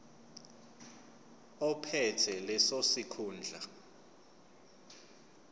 ophethe leso sikhundla